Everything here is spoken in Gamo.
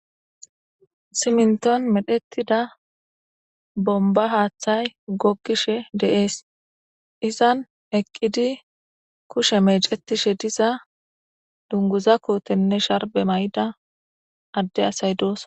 siminton medhettida bomba haaththay gokkishe deees izan eqqidi kushe meecetishe diza dunguza kootenne sharbe may7da adde asay doos